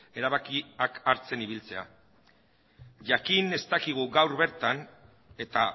erabakiak hartzen ibiltzea jakin ez dakigu gaur bertan eta